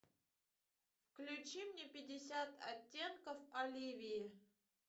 включи мне пятьдесят оттенков оливии